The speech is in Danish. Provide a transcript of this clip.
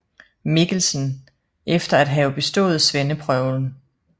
Mikkelsen efter at have bestået svendeprøven